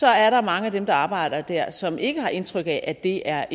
er der mange af dem der arbejder der som ikke har indtryk af at det er